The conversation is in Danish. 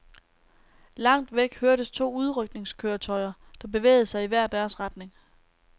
Langt væk hørtes to udrykningskøretøjer, der bevægede sig i hver deres retning.